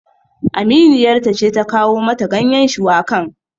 Aminiyar ta ce ta kawo mata ganyen shuwakan